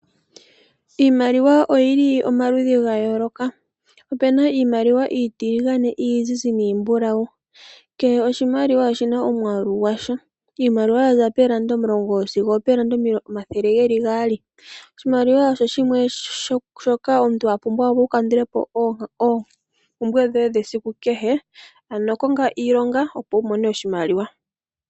Iimaliwa oyi li omaludhi ga yooloka. Ope na iimaliwa iitiligane, iizizi niimbulawu. Kehe oshimaliwa oshi na omwaalu gwasho. Iimaliwa yaza poondola omulongo sigo opoondola omathele geli gaali. Oshimaliwa osho shimwe shoka omuntu a pumbwa opo a kandule po oompumbwe dhoye dhesiku kehe, ano konga iilonga opo wu mone oshimaliwa.